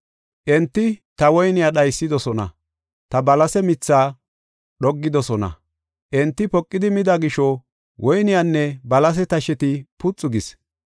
Enti ta woyniya dhaysidosona; ta balasiya mitha dhoggidosona. Enti poqidi mida gisho, woyniyanne balasiya tasheti puxu gis.